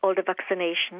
hún